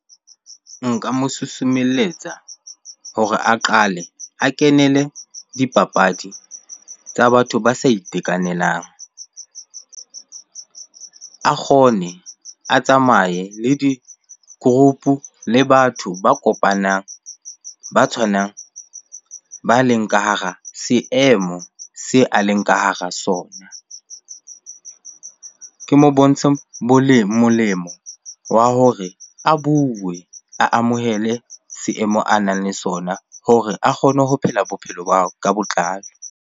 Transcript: Nka mo susumelletsa hore a qale a kenele dipapadi tsa batho ba sa itekanelang. A kgone, a tsamaye le di-group-u le batho ba kopanang, ba tshwanang, ba leng ka hara seemo se a leng ka hara sona. Ke mo bontshe molemo wa hore a bue, a amohele seemo a nang le sona hore a kgone ho phela bophelo ba hao ka botlalo.